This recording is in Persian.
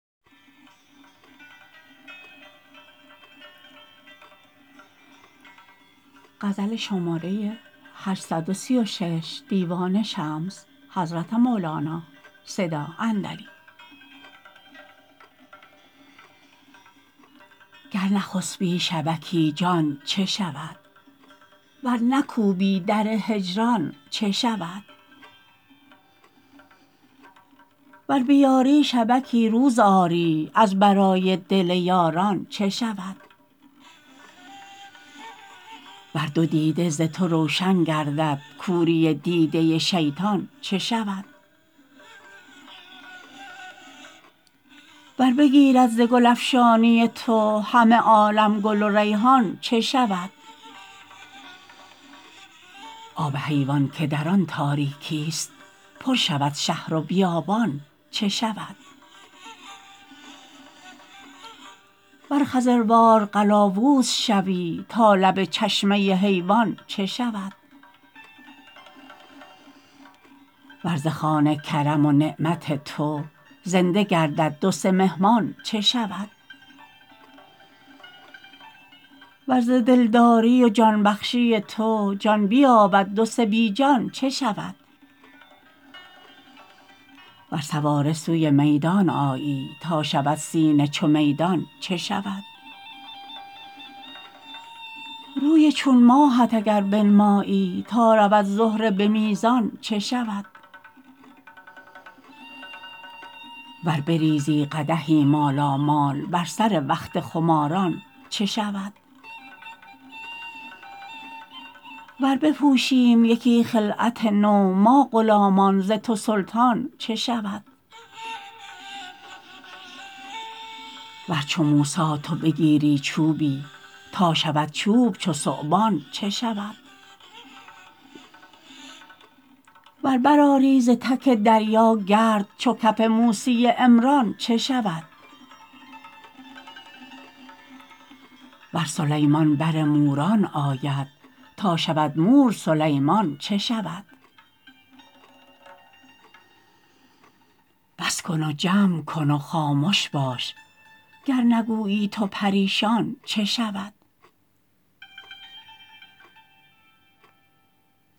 گر نخسپی شبکی جان چه شود ور نکوبی در هجران چه شود ور بیاری شبکی روز آری از برای دل یاران چه شود ور دو دیده ز تو روشن گردد کوری دیده شیطان چه شود ور بگیرد ز گل افشانی تو همه عالم گل و ریحان چه شود آب حیوان که در آن تاریکیست پر شود شهر و بیابان چه شود ور خضروار قلاووز شوی تا لب چشمه حیوان چه شود ور ز خوان کرم و نعمت تو زنده گردد دو سه مهمان چه شود ور ز دلداری و جان بخشی تو جان بیابد دو سه بی جان چه شود ور سواره سوی میدان آیی تا شود سینه چو میدان چه شود روی چون ماهت اگر بنمایی تا رود زهره به میزان چه شود ور بریزی قدحی مالامال بر سر وقت خماران چه شود ور بپوشیم یکی خلعت نو ما غلامان ز تو سلطان چه شود ور چو موسی تو بگیری چوبی تا شود چوب چو ثعبان چه شود ور برآری ز تک دریا گرد چو کف موسی عمران چه شود ور سلیمان بر موران آید تا شود مور سلیمان چه شود بس کن و جمع کن و خامش باش گر نگویی تو پریشان چه شود